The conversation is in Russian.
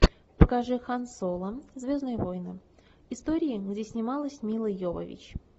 покажи хан соло звездные войны история где снималась мила йовович